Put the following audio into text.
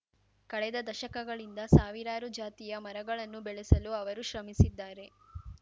ಕಳೆದ ದಶಕಗಳಿಂದ ಸಾವಿರಾರು ಜಾತಿಯ ಮರಗಳನ್ನು ಬೆಳೆಸಲು ಅವರು ಶ್ರಮಿಸಿದ್ದಾರೆ